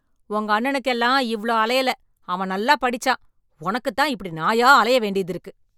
உங்க அண்ணனுக்கு எல்லாம் இவ்ளோ அலையல, அவன் நல்லா படிச்சான். உனக்குத் தான் இப்படி நாயா அலைய வேண்டியது இருக்கு.